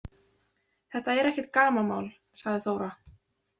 Þetta er ekkert gamanmál, sagði Þóra.